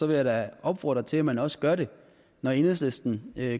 vil jeg da opfordre til at man også gør det når enhedslisten